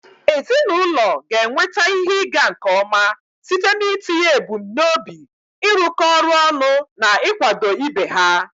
Ezinụlọ ga-enweta ihe ịga nke ọma site n'itinye ebumnobi, ịrụkọ ọrụ ọnụ, na ịkwado ibe ha.